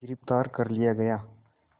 गिरफ़्तार कर लिया गया